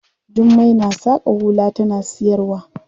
Jummai na saƙa hula tana siyarwa.